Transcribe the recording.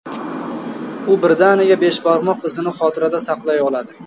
U birdaniga besh barmoq izini xotirada saqlay oladi.